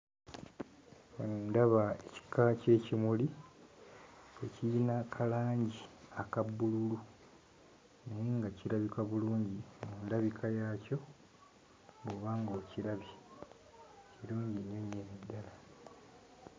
Ndaba ekika ky'ekimuli ekiyina ka langi aka bbululu naye nga kirabika bulungi mu ndabika yaakyo bw'oba ng'okirabye; kirungi nnyo nnyini ddala.